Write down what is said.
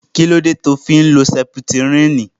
Kílódé tí o fi ń lo sẹputírínì